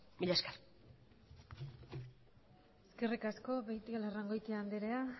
mila esker eskerrik asko beitialarrangoitia andrea